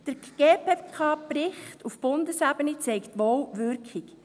Der GPK-Bericht auf Bundesebene zeigt wohl Wirkung.